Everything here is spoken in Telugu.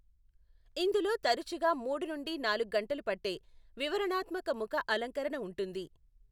ఇందులో తరచుగా మూడు నుండి నాలుగు గంటలు పట్టే వివరణాత్మక ముఖ అలంకరణ ఉంటుంది.